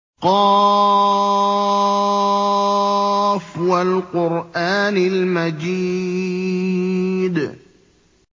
ق ۚ وَالْقُرْآنِ الْمَجِيدِ